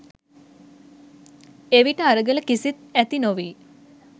එවිට අරගල කිසිත්, ඇති නොවී